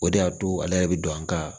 O de y'a to ale yɛrɛ bɛ don an ka